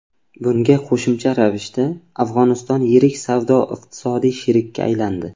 Bunga qo‘shimcha ravishda, Afg‘oniston yirik savdo-iqtisodiy sherikka aylandi.